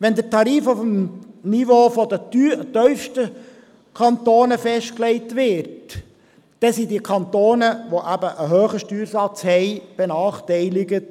Würde der Tarif auf dem Niveau der tiefsten Kantone festgelegt, wären jene Kantone mit einem hohen Steuersatz benachteiligt.